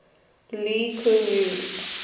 lee kuan yew